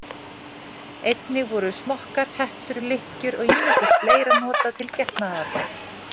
Einnig voru smokkar, hettur, lykkjur og ýmislegt fleira notað til getnaðarvarna.